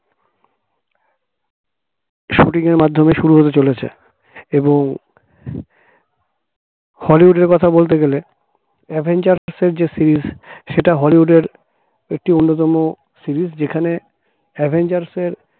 shooting র মাধ্যমে শুরু হতে চলেছে এবং হলিউডের কথা বলতে গেলে avengers যে series সেটা হলিউডের একটি অন্যতম series যেখানে avengers র